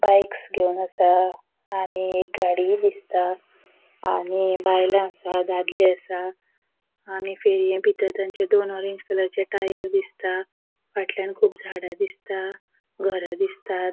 बाईक्स घेवन असा आणि गाड़ि दिसता आणि बायला असा दादले असा बितर तांचे ऑरेंज कलराचे टायर दिसता फाटल्यान कुब झाड़ा दिसता घरा दिसतात.